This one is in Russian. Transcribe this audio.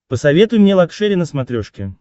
посоветуй мне лакшери на смотрешке